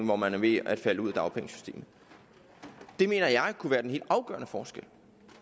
hvor man er ved at falde ud af dagpengesystemet det mener jeg kunne være den helt afgørende forskel